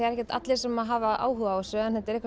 ekkert allir sem hafa áhuga á þessu en þetta er eitthvað